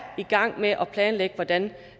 i gang med at planlægge hvordan